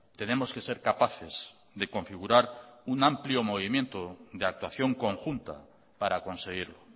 tenemos que ser capaces de configurar un amplio movimiento de actuación conjunta para conseguirlo